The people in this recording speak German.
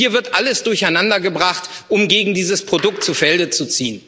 Also hier wird alles durcheinandergebracht, um gegen dieses Produkt zu Felde zu